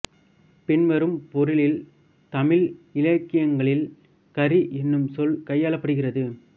பின்வரும் பொருளில் தமிழ் இலக்கியங்களில் கரி என்னும் சொல் கையாளப்படுகிறது